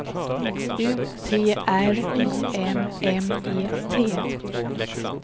U T R Y M M E T